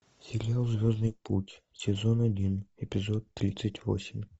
сериал звездный путь сезон один эпизод тридцать восемь